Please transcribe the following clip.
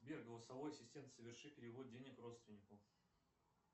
сбер голосовой ассистент соверши перевод денег родственнику